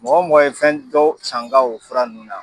Mɔgɔ o mɔgɔ ye fɛn dɔ san n ga o fura ninnu na